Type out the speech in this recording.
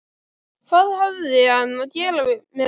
Hvað hafði hann að gera með glugga?